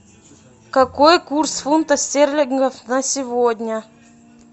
какой курс фунта стерлингов на сегодня